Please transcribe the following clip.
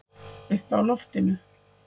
Uppi á loftinu.